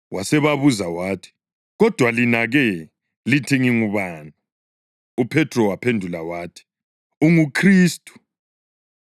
Wasebabuza wathi, “Kodwa lina-ke? Lithi ngingubani?” UPhethro waphendula wathi, “UnguKhristu.”